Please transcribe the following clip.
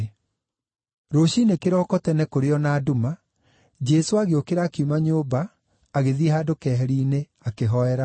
Rũciinĩ kĩroko tene kũrĩ o na nduma, Jesũ agĩũkĩra akiuma nyũmba agĩthiĩ handũ keheri-inĩ, akĩhoera ho.